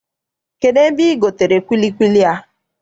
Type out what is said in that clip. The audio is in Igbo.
Kedụ ebe I gotere kwilikwili a?